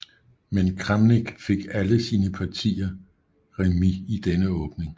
Men Kramnik fik alle sine partier remis i denne åbning